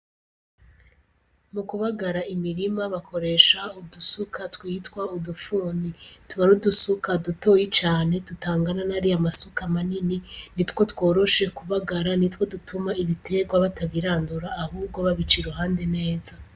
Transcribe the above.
Mu kubagara imirima bakoresha udusuka twitwa udufuni, tuba arudusuka dutoyi cane dutangana n'ari ye amasuka manini ni two tworoshe kubagara ni two dutuma ibiterwa batabirandura ahubwo babica i ruhande neza.